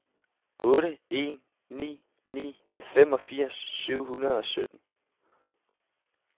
otte en ni ni femogfirs syv hundrede og sytten